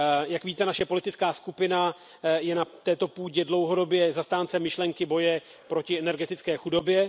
Jak víte, naše politická skupina je na této půdě dlouhodobě zastáncem myšlenky boje proti energetické chudobě.